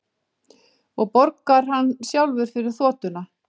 Og borgar hann sjálfur fyrir þotuna